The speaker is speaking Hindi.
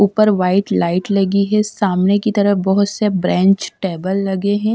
ऊपर वाइट लाइट लगी है सामने की तरफ बहुत से ब्रेंच टेबल लगे हैं ।